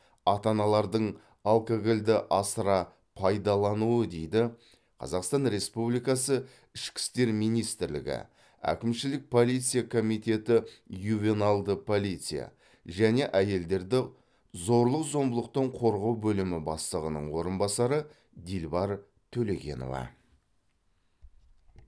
ата аналардың алкогольді асыра пайдалануы дейді қазақстан республикасы ішкі істер министрлігі әкімшілік полиция комитеті ювеналды полиция және әйелдерді зорлық зомбылықтан қорғау бөлімі бастығының орынбасары дилбар төлегенова